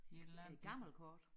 Et eller andet gammelt kort